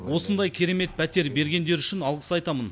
осындай керемет пәтер бергендері үшін алғыс айтамын